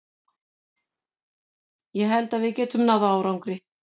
Ég held að við getum náð árangri.